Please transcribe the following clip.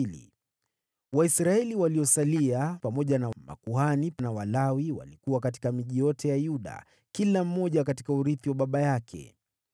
Waisraeli waliosalia, pamoja na makuhani na Walawi, walikuwa katika miji yote ya Yuda, kila mmoja katika urithi wa baba yake.